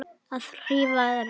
Að hrífa fólk.